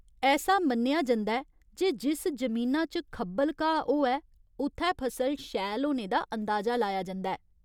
ऐसा मन्नेआ जंदा ऐ जे जिस जमीना च खब्बल घाऽ होऐ उत्थै फसल शैल होने दा अंदाज़ा लाया जंदा ऐ।